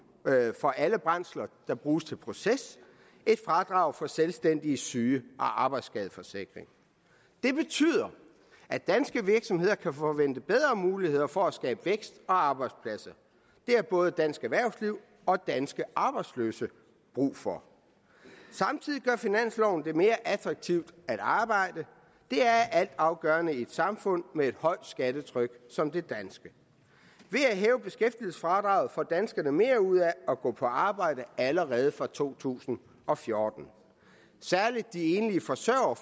for alle brændsler der bruges til proces et fradrag for selvstændiges syge og arbejdsskadeforsikring det betyder at danske virksomheder kan forvente bedre muligheder for at skabe vækst og arbejdspladser det har både dansk erhvervsliv og danske arbejdsløse brug for samtidig gør finansloven det mere attraktivt at arbejde det er altafgørende i et samfund med et højt skattetryk som det danske ved at hæve beskæftigelsesfradraget får danskerne mere ud af at gå på arbejde allerede fra to tusind og fjorten særlig de enlige forsørgere